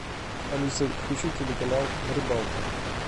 алиса включи телеканал рыбалка